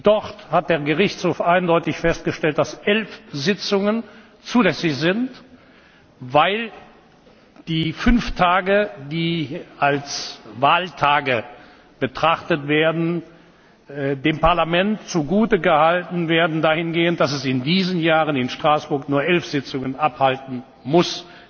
Dort hat der Gerichtshof eindeutig festgestellt, dass elf Sitzungen zulässig sind, weil die fünf Tage, die als Wahltage betrachtet werden, dem Parlament zugute gehalten werden dahingehend, dass es in diesen Jahren in Straßburg nur elf Sitzungen abhalten muss.